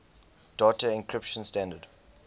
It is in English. data encryption standard